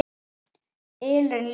ylurinn ljúfi.